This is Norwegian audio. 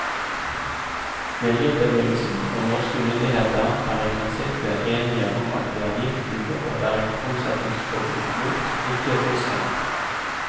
Miljøbevegelsen og norske myndigheter er i prinsippet enige om at det er giften det bør være omsetningsforbud mot, ikke fisken.